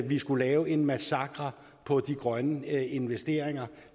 vi skulle lave en massakre på de grønne investeringer